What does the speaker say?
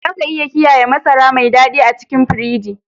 Za ka iya kiyaye masara mai dadi a cikin firiji.